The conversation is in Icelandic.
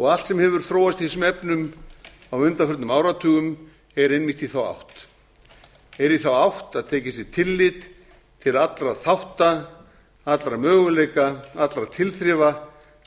og allt sem hefur þróast í þessum efnum á undanförnum áratugum er einmitt í þá átt er í þá átt að tekið sé tillit til allra þátta allra möguleika allra tilþrifa